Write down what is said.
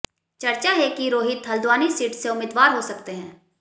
चर्चा है कि रोहित हल्द्वानी सीट से उम्मीदवार हो सकते हैं